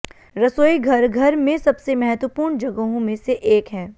रसोईघर घर में सबसे महत्वपूर्ण जगहों में से एक है